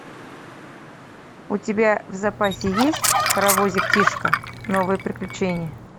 у тебя в запасе есть паровозик тишка новые приключения